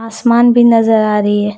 आसमान भी नजर आ रही है।